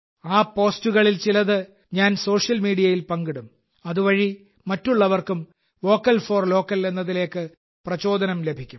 ആ പോസ്റ്റുകളിൽ ചിലത് ഞാൻ സോഷ്യൽ മീഡിയയിൽ പങ്കിടും അതുവഴി മറ്റുള്ളവർക്കും വോക്കൽ ഫോർ ലോക്കൽ എന്നതിലേക്ക് പ്രചോദനം ലഭിക്കും